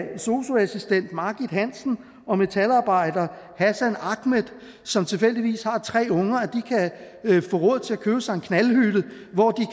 sosu assistent margit hansen og metalarbejder hassan akmed som tilfældigvis har tre unger kan få råd til at købe sig en knaldhytte hvor de